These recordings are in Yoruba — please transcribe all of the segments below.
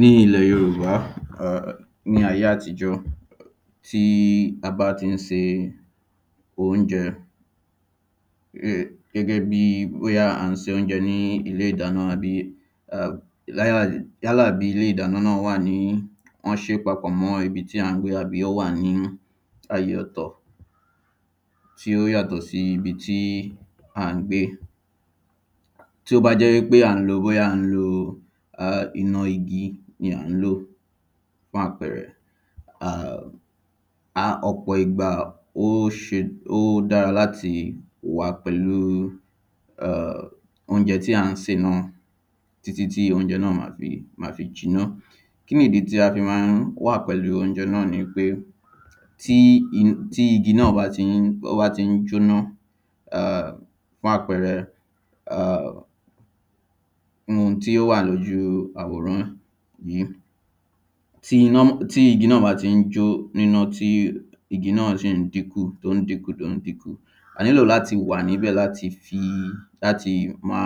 Ní ilẹ̀ yorùbá ní ayé àtijọ́ tí a bá tí ń se óúnjẹ gẹ́gẹ́ bí à ń se óúnjẹ ní ilé ìdáná àbí um yálà yálà bí ilé ìdáná náà wà ní wọ́n ṣé papọ̀ mọ́ ibi tí à ń gbé àbí ó wà nínú àyè ọ̀tọ̀ tí ó yàtọ̀ sí ibi tí à ń gbé. Tí ó bá jẹ́ pé bóyá à ń lo iná igi ni à ń lò fún àpẹrẹ um à ọ̀pọ̀ ìgbà ó dára láti wà pẹ̀lú óúnjẹ tí à ń sè náà títí tí óúnjẹ náà má fi má fi jiná. Kínì ìdí tí a fi má ń wà pẹ̀lú óúnjẹ náà ni pé tí igi náà bá tí ń jóná um fún àpẹrẹ um ohun tí ó wà lójú àwòrán yìí tí iná tí igi náà bá tí ń jó níná igi náà sì ń dínkù sì ń dínkù díẹ̀díẹ̀ a nílò láti wà níbẹ̀ láti fi láti má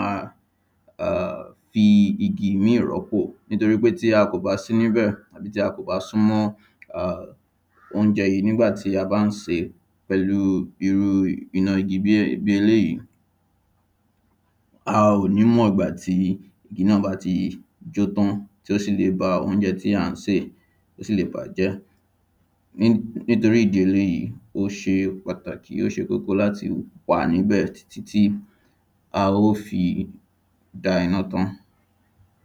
um fi igi mí rọ́pò nítoríwípé tí a kò bá sí níbẹ̀ tàbí tí a kò bá súnmọ́ óúnjẹ yìí nígbà tí a bá ń sè pẹ̀lú irú pẹ̀lú irú iná igi bí eléèyí. A ò ní mọ̀gbàtí iná bá ti jó tán tí ó sì le ba óúnjẹ tí à ń sè ó sì le bàájẹ́. Nítorí nítorí ìdí eléèyí ó ṣe pàtàkì ó ṣe kókó láti wà níbẹ̀ títí a ó fi dá iná tán.